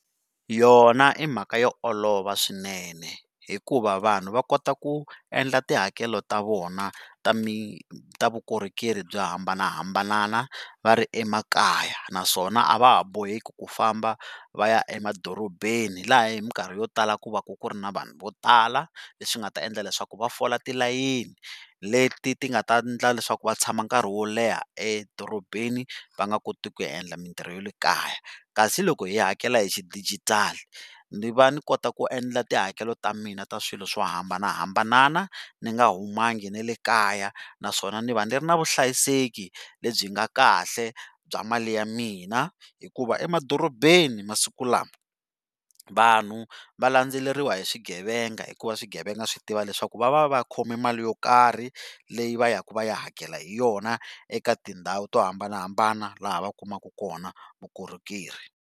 Yona i mhaka yo olova swinene hikuva vanhu va kota ku endla tihakelo ta vona ta ta vukorhokeri byo hambanahambana va ri emakaya naswona a va ha boheki ku famba va ya emadorobeni laha hi minkarhi yo tala ku va ku ku ri ni vanhu vo tala, leswi nga ta endla leswaku va fola tilayeni leti ti nga ta endla leswaku va tshama nkarhi wo leha edorobeni va nga koti ku ya endla mintirho ya le kaya. Kasi loko hi hakela hi xidijitali, ni va ni kota ku endla tihakelo ta mina ta swilo swo hambanahambana ni nga humangi na le kaya naswona ni va ni ri na vuhlayiseki lebyi nga kahle bya mali ya mina hikuva emadorobeni masiku lama, vanhu va landzeleriwa hi swigevenga hikuva swigevenga swi tiva leswaku va va va khome mali yo karhi leyi va ya ku va ya hakela hi yona eka tindhawu to hambanahambana laha va kumaka kona vukorhokeri.